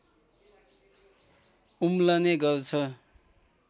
उम्लने गर्छ